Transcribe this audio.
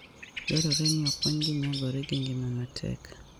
Dwarore ni okonygi nyagore gi ngima matek.